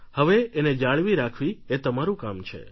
હવે એને જાળવી રાખવી એ તમારું કામ છે